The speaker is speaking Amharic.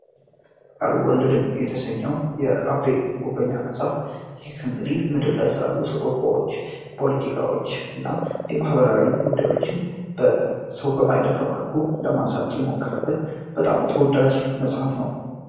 አልወለድም የተሰኘው አቤ ጉበኛ ስላሉ የማህበራዊ ጉዳዮችን መልኩ ለማንሳት በጣም ተወዳጅ መሐፍ ነው የተሰኘው የአቤ ት ምድር ላይ ስላለው ፖለቲካዎች እና የማህበራዊ ጉዳዮችን መልኩ ለማንሳት በጣም ተወዳጅ ነው።